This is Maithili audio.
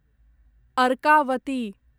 अर्कावती